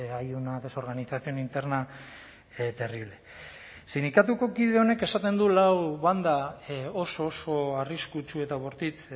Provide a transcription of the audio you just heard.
hay una desorganización interna terrible sindikatuko kide honek esaten du lau banda oso oso arriskutsu eta bortitz